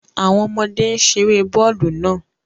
Awọn ọmọde n ṣere bọọlu naa